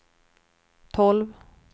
tolv